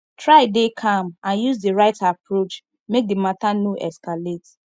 try de calm and use di right approach make di matter no escalate